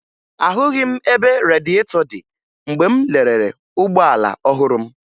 Ahụghị m ebe radịetọ dị mgbe m lelere ụgbọala ọhụrụ m